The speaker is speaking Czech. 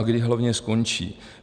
A kdy hlavně skončí?